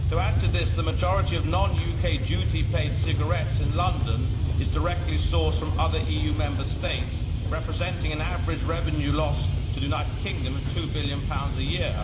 To add to this, the majority of non UK duty paid cigarettes in London are directly sourced from other EU Member States, representing an average revenue loss to the United Kingdom of GBP 2 billion a year.